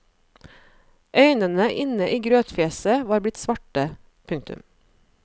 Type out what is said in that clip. Øynene inne i grøtfjeset var blitt svarte. punktum